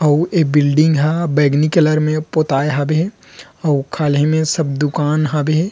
आउ ए बिल्डिंग ह बैगनी कलर में पोताए हावे आउ खाली में सब दुकान हावे --